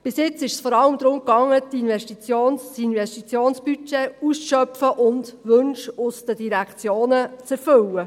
Bisher ging es vor allem darum, das Investitionsbudget auszuschöpfen und Wünsche aus den Direktionen zu erfüllen.